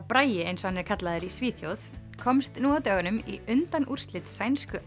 Bragi eins og hann kallaður í Svíþjóð komst nú á dögunum í undanúrslit sænsku